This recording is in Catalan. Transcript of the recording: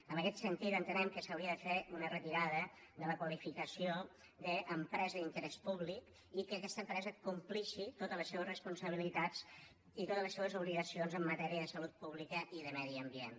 en aquest sentit entenem que s’hauria de fer una retirada de la qualificació d’empresa d’interès públic i que aquesta empresa compleixi totes les seves responsabilitats i totes les seves obligacions en matèria de salut pública i de medi ambient